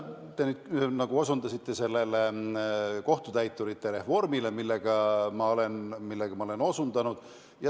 Te osutasite kohtutäiturite reformile, millest ma olen rääkinud.